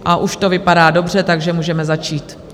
A už to vypadá dobře, takže můžeme začít.